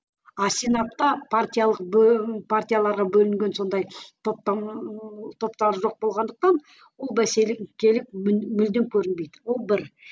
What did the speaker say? а сенатта партиялық партияларға бөлінген сондай топтар ыыы топтар жоқ болғандықтан бұл бәсекелік мүлдем көрінбейді бұл бір